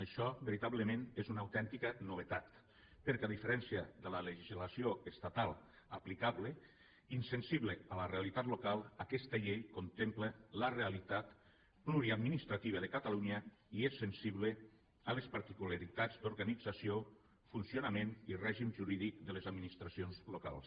això veritablement és una autèntica novetat perquè a diferència de la legislació estatal aplicable insensible a la realitat local aquesta llei contempla la realitat pluriadministrativa de catalunya i és sensible a les particularitats d’organització funcionament i règim jurídic de les administracions locals